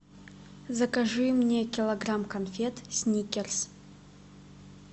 закажи мне килограмм конфет сникерс